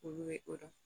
Olu bɛ o dɔn